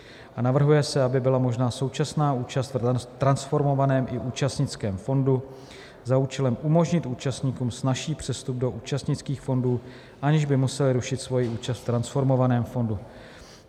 A navrhuje se, aby byla možná současná účast v transformovaném i účastnickém fondu za účelem umožnit účastníkům snazší přestup do účastnických fondů, aniž by museli rušit svoji účast v transformovaném fondu.